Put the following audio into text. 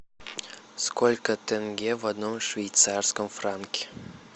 сколько тенге в одном швейцарском франке